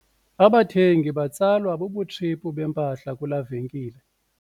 Abathengi batsalwa bubutshiphu bempahla kulaa venkile.